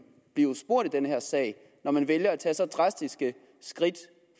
blev spurgt i den her sag når man vælger at tage så drastiske skridt